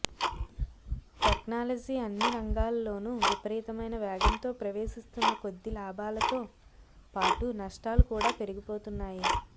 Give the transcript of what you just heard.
technology అన్ని రంగాలలోనూ విపరీతమైన వేగంతో ప్రవేశిస్తున్న కొద్దీ లాభాలతో పాటు నష్టాలు కూడా పెరిగిపోతున్నాయి